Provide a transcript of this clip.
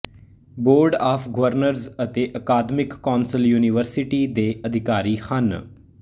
board of governors ਅਤੇ academic council university ਦੇ ਅਧਿਕਾਰੀ ਹਨ